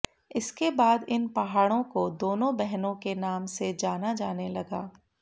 इसके बाद इन पहाड़ो को दोनों बहनों के नाम से जाना जाने लगा